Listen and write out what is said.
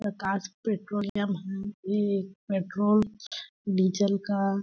प्रकाश petroleum हम भी petrol diesel का--